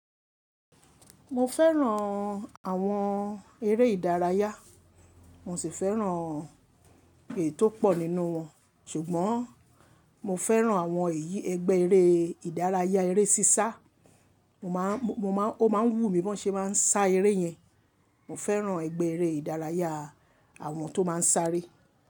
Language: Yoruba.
Mo fẹ́ràn àwọn eré ìdárayá, mo sì fẹ́ràn ètò pọ̀ nínú wọn. Ṣùgbọ́n mo fẹ́ràn àwọn ẹ̀yí, ẹgbẹ́ eré ìdárayá eré sísá. Mo máa, mo máa, ó máa ń wú mi bí wọ́n ṣe máa ń sá eré yẹn. Mo fẹ́ràn ẹgbẹ́ eré ìdárayá àwọn tó máa ń sáré.